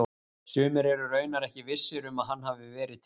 Sumir eru raunar ekki vissir um að hann hafi verið til.